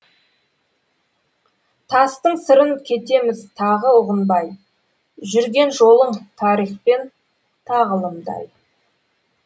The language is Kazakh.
тастың сырын кетеміз тағы ұғынбай жүрген жолың тарих пен тағылымдай